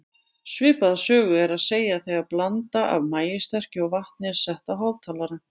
Svipaða sögu er að segja þegar blanda af maíssterkju og vatni er sett á hátalara.